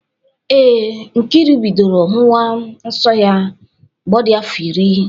Ee, Nkiru bidoro hụwa nsọ mgbe ọ dị afọ iri